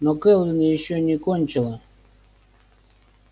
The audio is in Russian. но кэлвин ещё не кончила